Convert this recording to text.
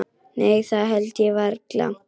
Nei það held ég varla.